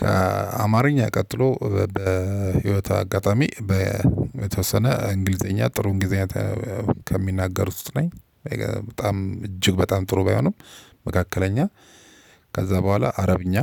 ከአማርኛ ቀጥሎ በህይወት አጋጣሚ በተወሰነ እንግሊዘኛ ጥሩ እንግሊዘኛ ከሚናገር ውስጥ ነኝ። በጣም እጅግ በጣም ጥሩ ባይሆንም መካከለኛ ከዛ በኋላ አረብኛ።